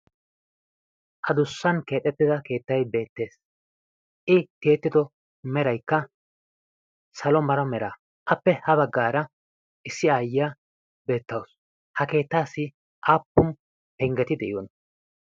adussan keexettida keettai beettees. i tiyettido meraikka salo mara mera appe ha baggaara issi aayya beettawusu. ha keettaassi aappum penggeti de7iyona?